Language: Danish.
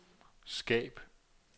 skab